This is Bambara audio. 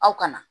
Aw kana